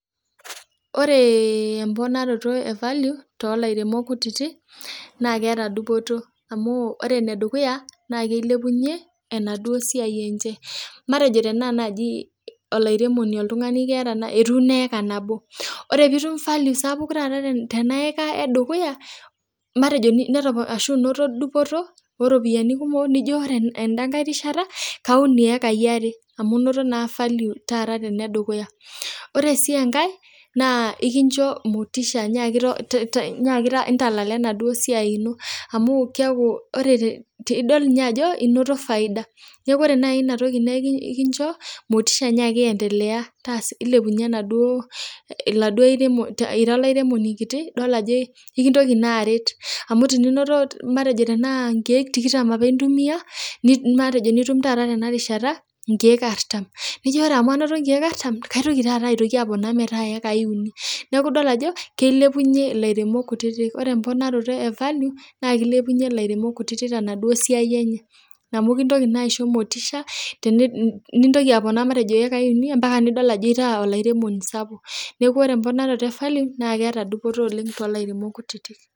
Oreee mponanoto ee value te lairemok kutiti, naa keata dupoto amu ore nedukuya naa kelepunye enaduo siai enje matejo tanaa naji olairemoni ltung'ane etuuno heka nabo kore, putum value sapuk taata tanaheka edukuya matejo etopnu ashu inoto dupoto eropiyiani kumo nijo ore anda rishata kaun hekai are amu inoto naa value ana edukuya, ore sii enkae naa kinjo motisha yiaki ntalala naduo siai ino amu idol niye ajo inoto faida eji kore nai niatoki naa ikinjo motisha nyiaki endelea ilepunye naduo ira lairemoni kiti amu tininoto matejo tanaa nkeek tikitam apa intumia matejo nitum taata tanarishata nkeek artum, nijo kore amu anoto nkeek artum kaitoki aponu metaa hekai uni, naaku idol ajo keilepunye ilaremok kutiti, kore mponoroto e value naa kelepunye lairemok kutiti tanaduo siai enye amu kintoki naa aisho motisha nitoki aponaa matejo hekai uni empaka nidol ajo itaa olairemoni sapuk, naaku kore mponaroto evalue naa keata dupoto talairemok kutiti.